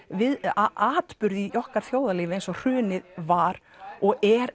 atburð í okkar þjóðlífi eins og hrunið var og er